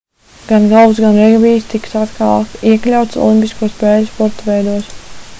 gan golfs gan regbijs tiks atkal iekļauts olimpisko spēļu sporta veidos